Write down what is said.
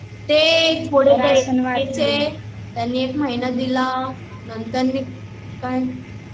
राशण वाटले, त्यांनी एक महिना दिला